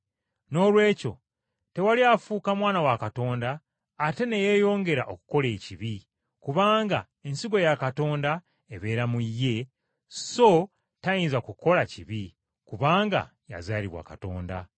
Noolwekyo tewali afuuka mwana wa Katonda ate ne yeeyongera okukola ekibi, kubanga ensigo ya Katonda ebeera mu ye, so tayinza kukola kibi, kubanga yazaalibwa Katonda.